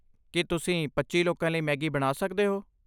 ਕੀ ਤੁਸੀਂ ਪੱਚੀ ਲੋਕਾਂ ਲਈ ਮੈਗੀ ਬਣਾ ਸਕਦੇ ਹੋ?